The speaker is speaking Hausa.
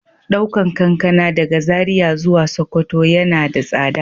Daukan kankana daga Zaria zuwa sokoto yana da tsada.